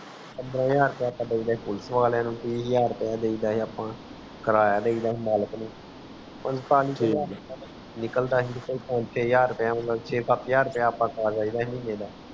ਦੋ ਹਜ਼ਾਰ ਰੁਪਿਆ ਖਵਾ ਦੇਇ ਪੁਲਸ ਵਾਲੇ ਨੂੰ ਤੀ ਹਜਾਰ ਰਪੇਯਾ ਦੇਈਦਾ ਹੈ ਅੱਪਾ ਕਰਾਯਾ ਦੇਈਦਾ ਹੁੰਦਾ ਹੈ ਨਿਕਲਦਾ ਹੈ ਪੰਜ ਸ਼ੇ ਹਜ਼ਾਰ ਮਤਲਵ ਸ਼ੇ ਸੱਤ ਹਜ਼ਾਰ ਮਤਲਵ ਖਾ ਲੇਇਦਾ ਮਹੀਨੇ ਦਾ